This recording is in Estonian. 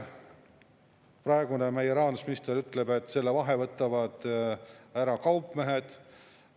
Meie praegune rahandusminister ütleb, et selle vahe võtavad ära kaupmehed.